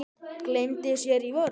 Gleymdi sér í vörn.